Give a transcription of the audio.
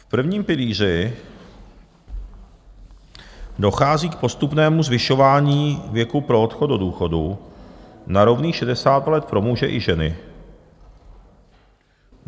V prvním pilíři dochází k postupnému zvyšování věku pro odchod do důchodu na rovných 60 let pro muže i ženy.